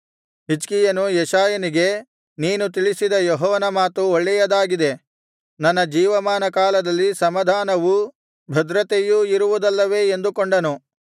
ಹಿಜ್ಕೀಯನು ಯೆಶಾಯನಿಗೆ ನೀನು ತಿಳಿಸಿದ ಯೆಹೋವನ ಮಾತು ಒಳ್ಳೆಯದಾಗಿದೆ ನನ್ನ ಜೀವಮಾನ ಕಾಲದಲ್ಲಿ ಸಮಾಧಾನವೂ ಭದ್ರತೆಯೂ ಇರುವುದಲ್ಲವೇ ಎಂದು ಕೊಂಡನು